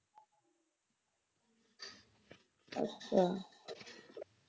ਅੱਛਾ